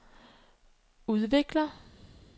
udvikler